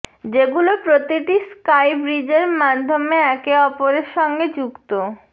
যেগুলো প্রতিটি স্কাই ব্রিজের মাধ্যমে একে অপরের সঙ্গে যুক্ত